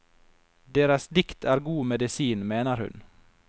Deres dikt er god medisin, mener hun.